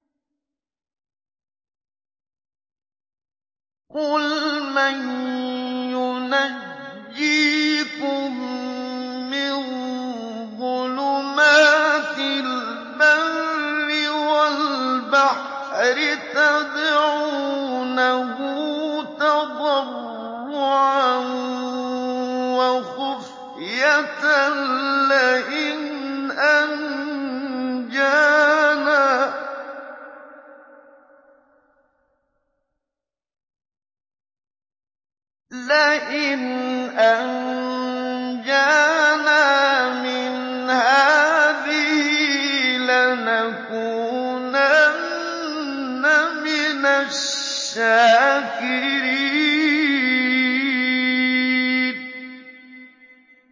قُلْ مَن يُنَجِّيكُم مِّن ظُلُمَاتِ الْبَرِّ وَالْبَحْرِ تَدْعُونَهُ تَضَرُّعًا وَخُفْيَةً لَّئِنْ أَنجَانَا مِنْ هَٰذِهِ لَنَكُونَنَّ مِنَ الشَّاكِرِينَ